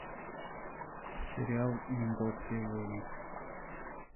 сериал ментовские войны